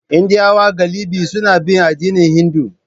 Indiyawa galibi suna bin addinin Hindu.